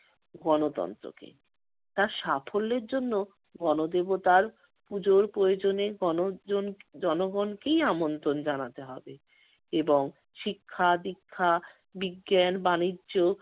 গণতন্ত্রকে। তার সাফল্যের জন্য গণদেবতার পূজোর প্রয়োজনে গণজন~ জনগণকেই আমন্ত্রণ জানাতে হবে এবং শিক্ষা-দীক্ষা, বিজ্ঞান, বাণিজ্য,